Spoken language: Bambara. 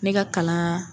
Ne ka kalan